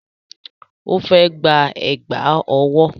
Ó fẹ́ gba Ẹ̀gbá ọwọ́